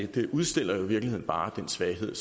det udstiller jo i virkeligheden bare den svaghed